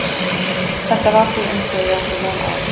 Þetta var því eins og ég átti von á.